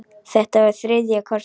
Þetta var þriðja kortið.